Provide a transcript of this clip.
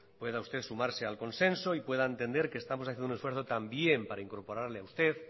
pueda usted sumarse al consenso y pueda entender que estamos haciendo un esfuerzo también para incorporarle a usted